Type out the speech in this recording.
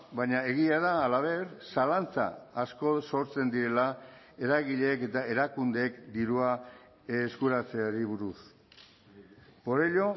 baina egia da halaber zalantza asko sortzen direla eragileek eta erakundeek dirua eskuratzeari buruz por ello